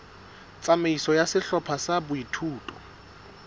tsamaiso ya sehlopha sa boithuto